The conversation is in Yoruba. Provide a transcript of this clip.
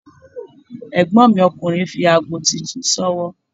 Ègbón mi ọkùnrin fi aago titun s'ówọ́